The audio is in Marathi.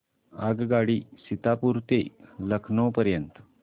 आगगाडी सीतापुर ते लखनौ पर्यंत